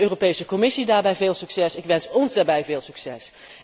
Ik wens de Europese Commissie daarbij veel succes en ik wens ons daarbij veel succes.